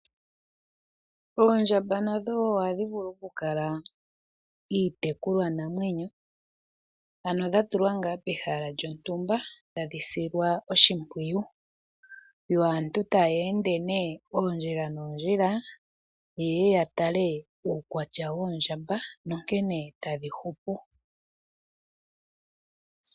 Oondjamba nadho wo ohadhi vulu okukala iitekulwanamwenyo , ano dha tulwa pehala lyontumba tadhi silwa oshimpwiyu , yo aantu taya ende oondjila noondjila , yeye ya tale uukwatya woondjamba nonkene tadhi hupu.